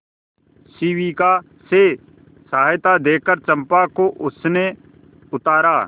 शिविका से सहायता देकर चंपा को उसने उतारा